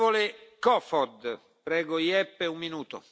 Mr President, thank you for this very important debate.